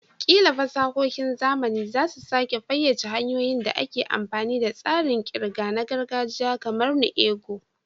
Ƙila fasahohin zamani za su sake fayyace hanyoyin da ake amfani da tsarin ƙirga na gargajiya kamar "nu ego".